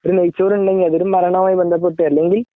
ഒരു നെയ്‌ച്ചോറ് ഉണ്ടെങ്കിൽ അത് ഒരു മരണവുമായി ബന്ധപ്പെട്ട് അല്ലെങ്കിൽ